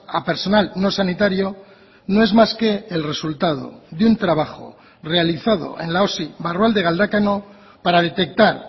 a personal no sanitario no es más que el resultado de un trabajo realizado en la osi barrualde galdakao para detectar